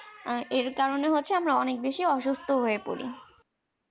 এর কারণে হচ্ছে আমরা অনেক বেশি অসুস্থ। হয়ে পড়ি।